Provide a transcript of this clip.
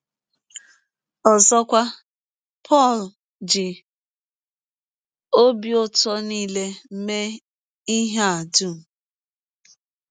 Ọzọkwa, Pọl ji ọbi ụtọ nile ” mee ihe a dụm.